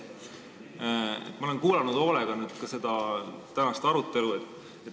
Ma olen hoolega tänast arutelu kuulanud.